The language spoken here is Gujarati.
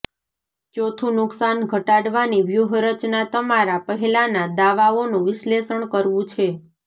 ચોથું નુકસાન ઘટાડવાની વ્યૂહરચના તમારા પહેલાંનાં દાવાઓનું વિશ્લેષણ કરવું છે